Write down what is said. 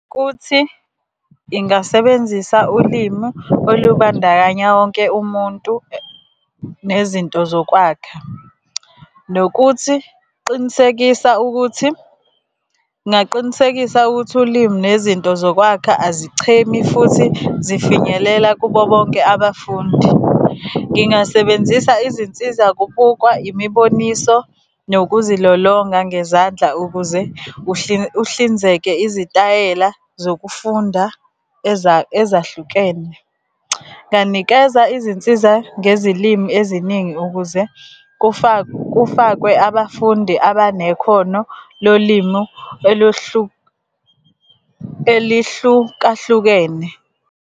Kuthi ingasebenzisa ulimu olubandakanya wonke umuntu nezinto zokwakha, nokuthi qinisekisa ukuthi, ngingaqinisekisa ukuthi ulimi nezinto zokwakha azichemi futhi zifinyelela kubo bonke abafundi. Ngingasebenzisa izinsiza kubukwa, imiboniso, nokuzilolonga ngezandla ukuze uhlinzeke izitayela zokufunda ezahlukene. Nganikeza izinsiza ngezilimi eziningi ukuze kufakwe abafundi abanekhono lolimu elihlukahlukene.